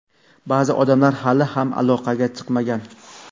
ba’zi odamlar hali ham aloqaga chiqmagan.